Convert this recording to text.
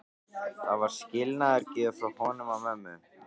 Það var skilnaðargjöf frá honum og mömmu.